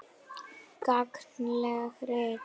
Gagnleg rit